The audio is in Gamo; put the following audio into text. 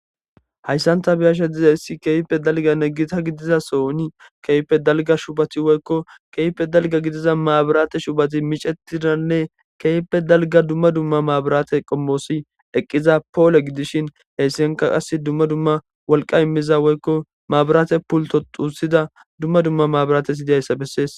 hayssanta biyasha dizayssi keype dalganne gita gidiza sooni keype dalga shubati woykko keype dalga gidiza maabiraate shubati micetiranne kepe dalga dumma dumma maabiraate qommoosi eqqiza poole gidishin heessienka qas dumma dumma wolqa immiza woykko maabaraate pulto xuusida dumma dumma maabiraate hyidiyayssa bessees